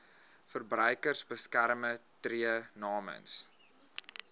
verbruikersbeskermer tree namens